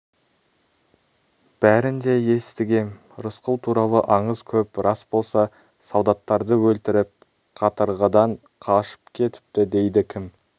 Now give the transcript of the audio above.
бәрін де естігем рысқұл туралы аңыз көп рас болса солдаттарды өлтіріп катырғыдан қашып кетіпті дейді кім